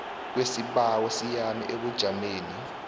kwesibawo siyame ebujameni